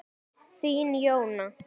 Þín, Jóna.